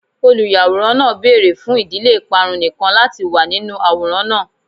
Oluyaworan naa beere fun idile iparun nikan lati wa ninu aworan naa